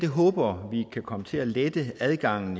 håber vi kan komme til at lette adgangen